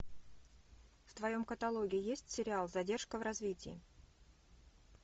в твоем каталоге есть сериал задержка в развитии